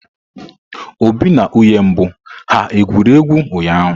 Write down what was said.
Obi na nwunye mbụ ha gwuru egwu ụnyahụ?